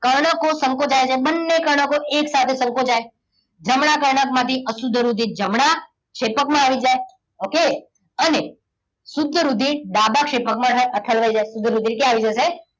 કર્ણકો સંકોચાય છે. બંને કર્ણકો એકસાથે સંકોચાય. જમણા કર્ણક માંથી અશુદ્ધ રુધિર જમણા ક્ષેપકમાં આવી જાય. okay અને શુદ્ધ રુધિર ડાબા ક્ષેપકમાં ઠલવાઈ જાય. શુદ્ધ રુધિર ક્યાં આવી જશે?